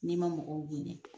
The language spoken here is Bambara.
N'i ma mɔgɔw hinɛ.